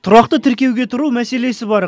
тұрақты тіркеуге тұру мәселесі бар